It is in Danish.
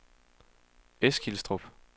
Eskilstrup